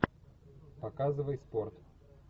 показывай спорт